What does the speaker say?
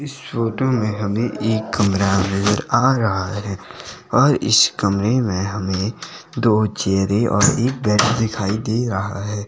इस फोटो में हमें एक कमरा नजर आ रहा है और इस कमरे में हमें दो चेयरे और एक बेड दिखाई दे रहा है।